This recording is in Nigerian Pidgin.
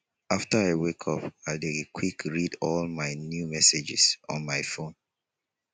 after i wake up i dey quickly read all the new messages on my phone